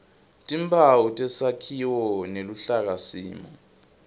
timphawu tesakhiwo neluhlakasimo